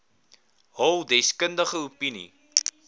hul deskundige opinie